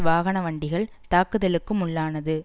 வாகன வண்டிகள் தாக்குதலுக்கும் உள்ளானது